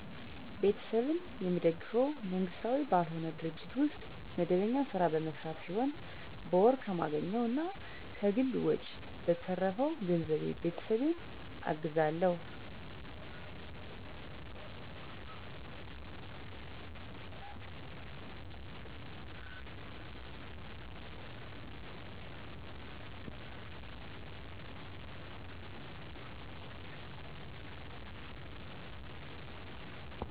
ቤተሰቤን የምደግፈው መንግስታዊ ባልሆነ ድርጅት ውስጥ መደበኛ ስራ በመሰራት ሲሆን በወር ከማገኘው እና ከግል ወጨ በተረፈው ገንዘብ ቤተሰቤን አግዛለሁ።